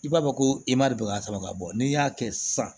I b'a fɔ ko bɛ ka sama ka bɔ n'i y'a kɛ sisan